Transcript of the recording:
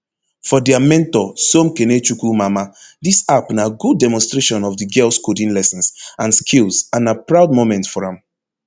for dia mentor somkenechukwu mamah dis app na good demonstration of di girls coding lessons and skills and na proud moment for am